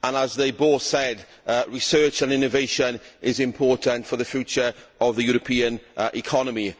As they both said, research and innovation is important for the future of the European economy.